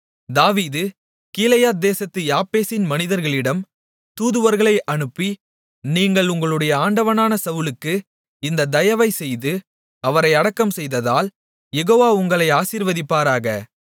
தாவீது கீலேயாத்தேசத்து யாபேசின் மனிதர்களிடம் தூதுவர்களை அனுப்பி நீங்கள் உங்களுடைய ஆண்டவனான சவுலுக்கு இந்த தயவைச் செய்து அவரை அடக்கம்செய்ததால் யெகோவா உங்களை ஆசீர்வதிப்பாராக